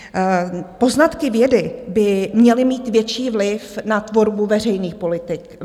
Poznatky vědy by měly mít větší vliv na tvorbu veřejných politik.